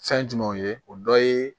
Fɛn jumɛnw ye o dɔ ye